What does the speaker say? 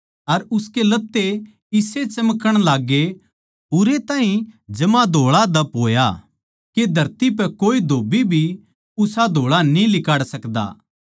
अर उसके लत्ते इसे चमकण लाग्गे उरै ताहीं जमा धोळाधप होया के धरती पै कोए धोब्बी भी उसा धोळा न्ही लिकाड़ सकदा